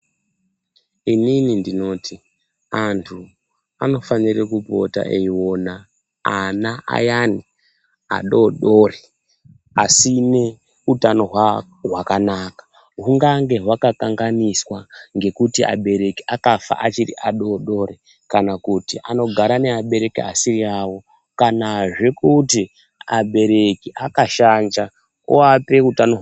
Inini ndinoti anhu anofane kupota eiona ana ayani adodori asine utano hwakanaka hungange hwakanganiswa ngekuti abereki akafa achiri adodori kana kuti anogara neabereki asiri awo ,kana kuti zve abereki akashanja ochope ana hutano hwakashata.